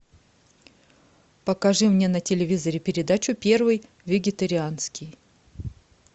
покажи мне на телевизоре передачу первый вегетарианский